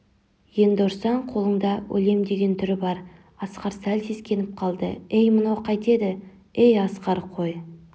енді ұрсаң қолыңда өлемдеген түрі бар асқар сәл сескеніп қалды ей мынау қайтеді ей асқар қой